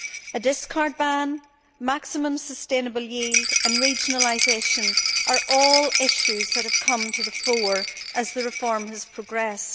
A discard ban, maximum sustainable yield and regionalisation are all issues that have come to the fore as the reform has progressed.